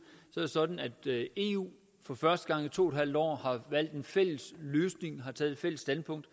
er det sådan at eu for første gang i to en halv år har valgt en fælles løsning og har taget et fælles standpunkt